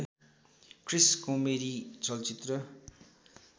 क्रिस् comedy चलचित्र